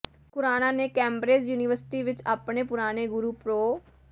ਖੁਰਾਣਾ ਨੇ Cambridge university ਵਿੱਚ ਆਪਣੇ ਪੁਰਾਣੇ ਗੁਰੂ ਪ੍ਰੋ